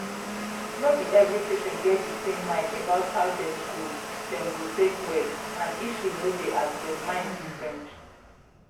no be every patient get di same mind about how dem go dem go take well and issue no dey as dem mind different.